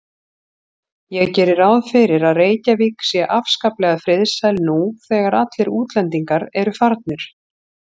Ég geri ráð fyrir að Reykjavík sé afskaplega friðsæl nú þegar allir útlendingar eru farnir.